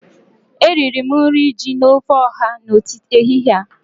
Eriri m nri ji na ofe ọha n'ehihie a